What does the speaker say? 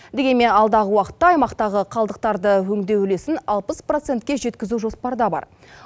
дегенмен алдағы уақытта аймақтағы қалдықтарды өңдеу үлесін алпыс процентке жеткізу жоспарда бар